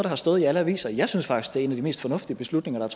har stået i alle aviser jeg synes faktisk det er en af de mest fornuftige beslutninger